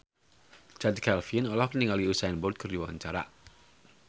Chand Kelvin olohok ningali Usain Bolt keur diwawancara